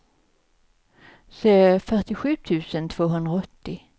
fyrtiosju tusen tvåhundraåttio